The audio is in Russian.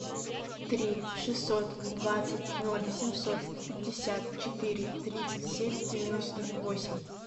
три шестьсот двадцать ноль семьсот пятьдесят четыре тридцать семь девяносто восемь